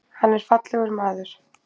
Hann er fallegur maður.